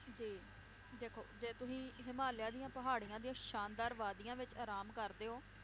ਜੀ ਦੇਖੋ ਜੇ ਤੁਸੀਂ ਹਿਮਾਲਿਆ ਦੀਆਂ ਪਹਾੜੀਆਂ ਦੀਆਂ ਸ਼ਾਨਦਾਰ ਵਾਦੀਆਂ ਵਿਚ ਆਰਾਮ ਕਰਦੇ ਓ,